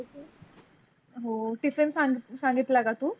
हो टिफ़िन सांगीतल सांगीतला का तू?